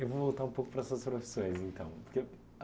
Eu vou voltar um pouco para as suas profissões, então.